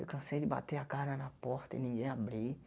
Eu cansei de bater a cara na porta e ninguém abrir.